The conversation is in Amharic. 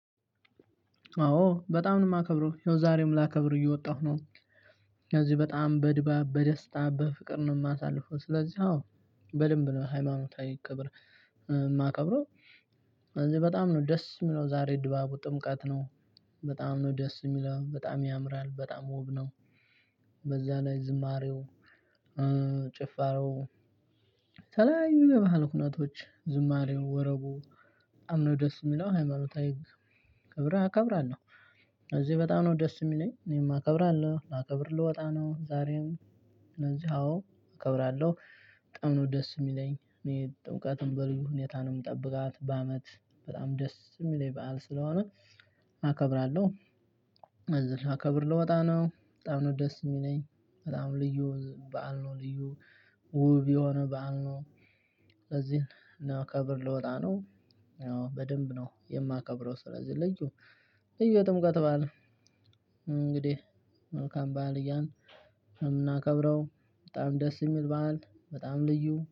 አወ በጣም ነው የማክብረው ይሀው ዛሬም ላከብር እየወጣሁ ነው። ስለዚህ በጣም በድባብ በደስታ በፍቅር ነው የማሳልፈው። ስለዚህ አወ በደንብ ነው ሃይማኖታዊ ክብር። የማከብረው እዚህ በጣም ነው ደስ የሚለው። ዛሬ ድባቡ ጥምቀት ነው። በጣም ነው ደስ የሚለው በጣም ያምራል በጣም ውብ ነው። በዛ ላይ ዝማሬው ጭፋሮው ተለያዩ የባህል ኩናቶች ዝማሬው ወረቡ። በጣም ነው ደስ የሚለው ሃይማኖታዊ ህግ። ከብር እከብራለሁ። እዚህ በጣም ነው ደስ የሚለኝ እኔም አከብራለሁ ላከብር ልወጣ ነው። ዛሬም ስለዚህ አዎ አከብራለሁ በጣም ነው ደስ የሚለኝ። እኔ ጥምቀትን በልዩ ሁኔታ ነው የምጠብቃት። በአመት በጣም ደስ የሚለኝ በዓል ስለሆነ አከብራለሁ። ስለዚህ ላከብር ልወጣ ነው። በጣም ነው ደስ የሚለኝ በጣም ልዩ በዓል ነው ልዩ ውብ የሆነ በዓል ነው። ለዚህ ለከብር ልወጣ ነው። በደንብ ነው የማከብረው። ስለዚህ ልዩ የጥምቀት በዓል። እንግዲህ መልካም በዓል እያልን የምናከብረው በጣም ደስ የሚል በዓል በጣም ልዩ